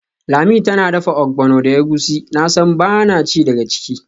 Lami tana dafa ogbono da egusi, nasan bana ci daga ciki.